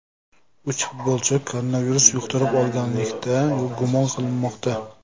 Uch futbolchi koronavirus yuqtirib olganlikda gumon qilinmoqda.